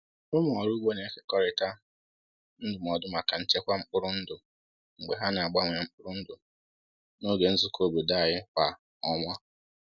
Ụmụ ọrụ ugbo na-ekekọrịta ndụmọdụ maka nchekwa mkpụrụ ndụ mgbe ha na-agbanwe mkpụrụ ndụ n’oge nzukọ obodo anyị kwa ọnwa.